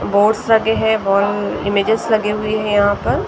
Boards लगे हैं औरं इमेजेस लगे हुए हैं यहां पर।